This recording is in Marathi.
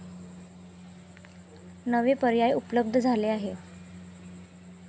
नवे पर्याय उपलब्ध झाले आहेत.